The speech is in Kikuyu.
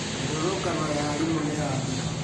Mĩrũrũngano ya arimũ nĩyathira?